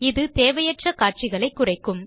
இது தேவையற்ற காட்சிகளைக் குறைக்கும்